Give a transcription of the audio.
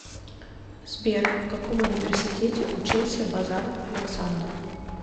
сбер в каком университете учился базаров александр